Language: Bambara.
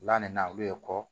La nin na olu ye kɔ